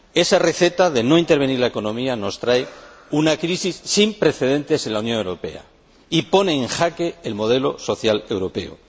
Esa receta de no intervenir la economía nos trae una crisis sin precedentes en la Unión Europea y pone en jaque el modelo social europeo.